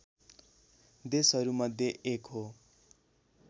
देशहरूमध्ये एक हो